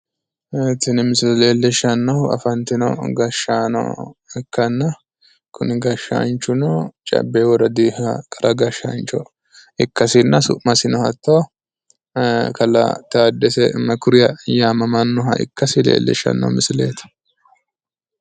Ee tini misile leellishshannohu afantino gashshaano ikkanna kuni gashshaanchuno cabbe woradi qara gashshaancho ikkasinna su'masino hatto kalaa taaddese mekuriya yaamamannoha ikkasi leellishshanno misileeti.